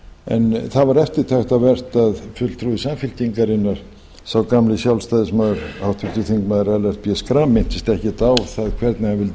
en það var eftirtektarvert að fulltrúi samfylkingarinnar sá gamli sjálfstæðismaður háttvirtir þingmenn ellert b schram minntist ekkert á það hvernig hann vildi